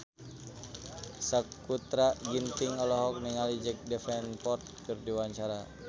Sakutra Ginting olohok ningali Jack Davenport keur diwawancara